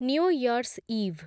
new year's ଇଭ୍